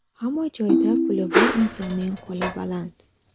Hamma joyda puli bor insonning qo‘li baland.